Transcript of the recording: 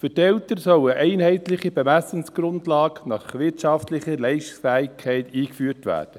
Für die Eltern sollen einheitliche Bemessungsgrundlagen nach wirtschaftlicher Leistungsfähigkeit eingeführt werden.